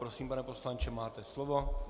Prosím, pane poslanče, máte slovo.